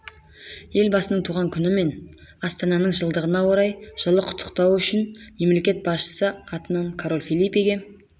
елбасының туған күні мен астананың жылдығына орай жылы құттықтауы үшін мемлекет басшысы атынан король фелипеге